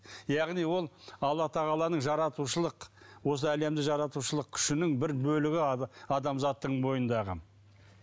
яғни ол алла тағаланың жаратушылық осы әлемді жаратушылық күшінің бір бөлігі адамзаттың бойындағы